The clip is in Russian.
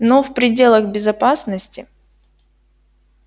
но в пределах безопасности